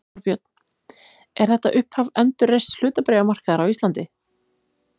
Þorbjörn: Er þetta upphaf endurreists hlutabréfamarkaðar á Íslandi?